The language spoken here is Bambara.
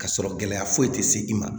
Ka sɔrɔ gɛlɛya foyi tɛ se i ma